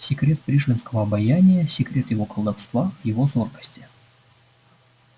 секрет пришвинского обаяния секрет его колдовства в его зоркости